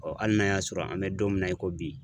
hali n'a y'a sɔrɔ an bɛ don min na i ko bi.